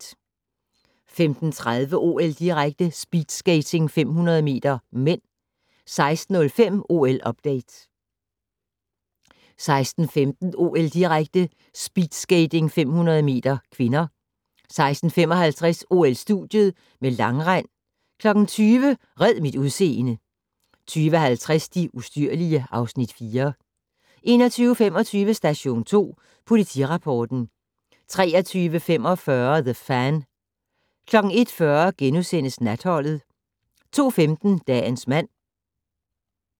15:30: OL-direkte: Speedskating 500 m (m) 16:05: OL-update 16:15: OL-direkte: Speedskating 500 m (k) 16:55: OL-studiet med langrend 20:00: Red mit udseende 20:50: De ustyrlige (Afs. 4) 21:25: Station 2 Politirapporten 23:45: The Fan 01:40: Natholdet * 02:15: Dagens mand